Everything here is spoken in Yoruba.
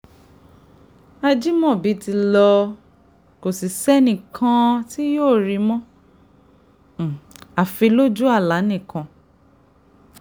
ajimobi ti lọ kò sì sẹ́nì kan tí yóò rí i mọ́ àfi lójú àlá nìkan